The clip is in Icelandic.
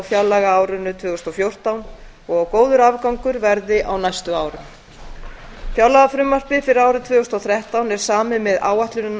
fjárlagaárinu tvö þúsund og fjórtán og að góður afgangur verði á næstu árum fjárlagafrumvarpið fyrir árið tvö þúsund og þrettán er samið með áætlunina